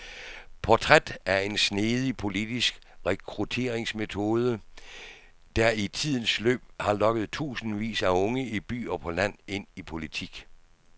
Portræt af en snedig politisk rekrutteringsmetode, der i tidens løb har lokket tusindvis af unge i by og på land ind i politik.